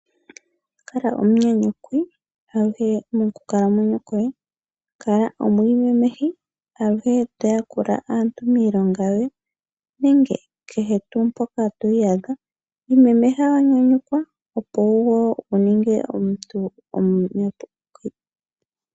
Kala omunyanyukwi aluhe mokukalamwenyo koye, kala omwiimemehi aluhe to yakula aantu miilonga yoye nenge kehe tuu mpoka to iyadha, imemeha wa nyanyukwa opo wo wuninge omuntu omunyanyukwi.